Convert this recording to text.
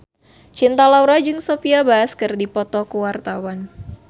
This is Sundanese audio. Cinta Laura jeung Sophia Bush keur dipoto ku wartawan